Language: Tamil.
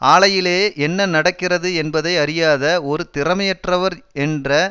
ஆலையிலேயே என்ன நடக்கிறது என்பதை அறியாத ஒரு திறமையற்றவர் என்ற